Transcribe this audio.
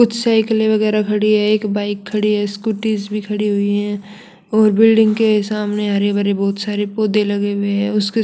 कुछ साइकिले वगेरा खड़ी हैं एक बाइक खड़ी स्कूटीस भी खड़ी हुई हैं और बिल्डिंग के सामने हरे भरे बहुत सारे पौधे लगे हुए हैं उसके--